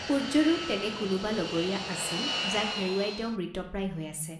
সূৰ্য্যৰো তেনে কোনোবা লগৰীয়া আছিল যাক হেৰুৱাই তেওঁ মৃতপ্ৰায় হৈ আছে।